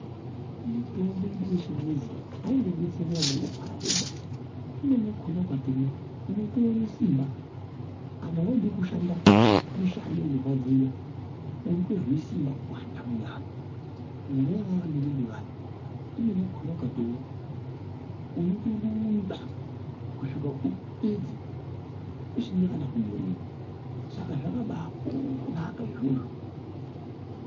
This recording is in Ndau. Mitombo yedu yechingezi aingodetseri vanongorwara vega imweni yakhona ukatomwa unotoone simba. Kana waide kushanda mishando inorwadza unotozwe simba kuwanda mumwiri Kunyanyanyanya vanorumba vaya imweni yakhonaukatomwa unotorumba kusvika upedze usina kana kuremba saka zvakabanaka izvozvo.